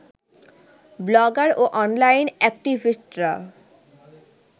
blogger ও online অ্যাক্টিভিস্টরা